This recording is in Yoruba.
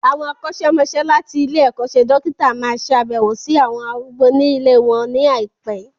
Àwọn akọ́ṣẹ́mọsẹ́ láti ilé-ẹ̀kọ́ṣẹ́ dókítà máa ṣe abewo sí àwọn arúgbó ní ilée wọn ní àìpé.